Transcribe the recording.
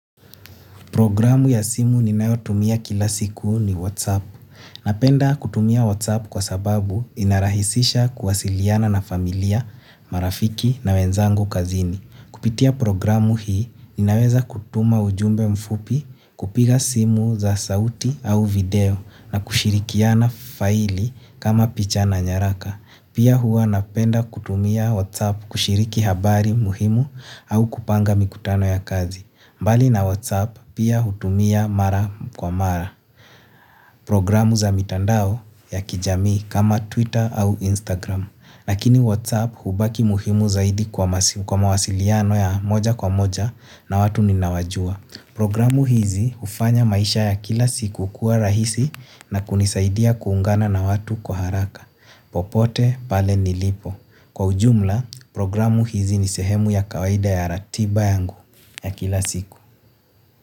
Programu ya simu ninayotumia kila siku ni WhatsApp. Napenda kutumia WhatsApp kwa sababu inarahisisha kuwasiliana na familia, marafiki na wenzangu kazini. Kupitia programu hii ninaweza kutuma ujumbe mfupi kupiga simu za sauti au video na kushirikiana faili kama picha na nyaraka. Pia huwa napenda kutumia WhatsApp kushiriki habari muhimu au kupanga mikutano ya kazi. Mbali na Whatsapp pia hutumia mara kwa mara. Programu za mitandao ya kijami kama Twitter au Instagram. Lakini Whatsapp hubaki muhimu zaidi kwa mawasiliano ya moja kwa moja na watu ninaowajua. Programu hizi hufanya maisha ya kila siku kuwa rahisi na kunisaidia kuungana na watu kwa haraka. Popote pale nilipo. Kwa ujumla, programu hizi nisehemu ya kawaida ya ratiba yangu ya kila siku.